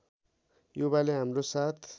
युवाले हाम्रो साथ